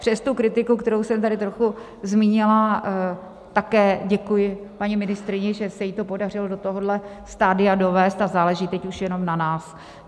Přes tu kritiku, kterou jsem tady trochu zmínila, také děkuji paní ministryni, že se jí to podařilo do tohoto stadia dovést, a záleží teď už jenom na nás.